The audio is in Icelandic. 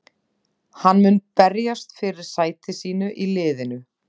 Hann mun berjast fyrir sæti sínu í liðinu.